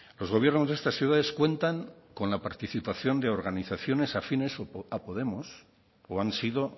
los gobiernos de estas ciudades cuentan con la participación de organizaciones afines a podemos o han sido